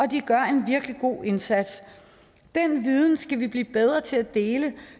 de gør en virkelig god indsats den viden skal vi blive bedre til at dele